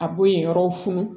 A b'o yen yɔrɔw fun